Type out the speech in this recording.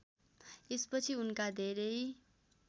यसपछि उनका धेरै